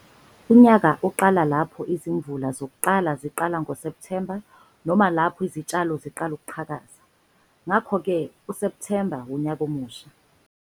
Unyaka uqala lapho izimvula zokuqala ziqala ngoSepthemba noma lapho izitshalo ziqala ukuqhakaza. Ngakho-ke, uSepthemba wunyaka omusha.